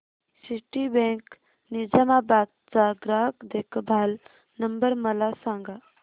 Citibank Nizamabad चा ग्राहक देखभाल नंबर मला सांगा